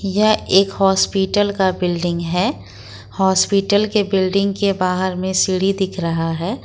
यह एक हॉस्पिटल का बिल्डिंग है हॉस्पिटल के बिल्डिंग के बाहर में सीढ़ी दिख रहा है।